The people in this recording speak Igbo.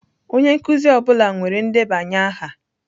Onye nkuzi ọ bụla nwere ndebanye aha.